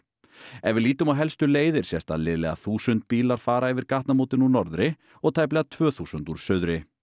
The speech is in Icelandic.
ef við lítum á helstu leiðir sést að liðlega þúsund bílar fara yfir gatnamótin úr norðri og tæplega tvö þúsund úr suðri